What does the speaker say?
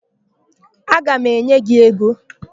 Aga m enye gị ego.